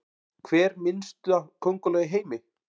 Hver minnsta könguló í heimi?